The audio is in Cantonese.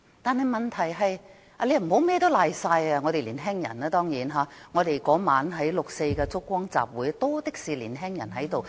當然，不可以把甚麼問題都推到年輕人身上，六四燭光晚會當晚多的是年輕人。